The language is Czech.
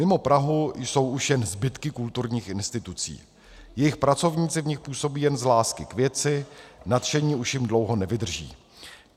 Mimo Prahu jsou už jen zbytky kulturních institucí, jejich pracovníci v nich působí jen z lásky k věci, nadšení už jim dlouho nevydrží.